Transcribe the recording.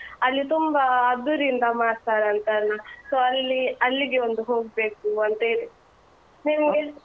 ಅಲ್ಲಿ ತುಂಬಾ ಅದ್ದೂರಿಯಿಂದ ಮಾಡ್ತಾರಂತಲ್ಲ, so ಅಲ್ಲಿ ಅಲ್ಲಿಗೆ ಒಂದು ಹೋಗ್ಬೇಕು ಅಂತ ಇದೆ. ನಿಮ್ಗೆ?